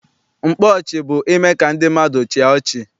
Mkpa ọchị bụ ime ka ndị mmadụ chịa ọchị.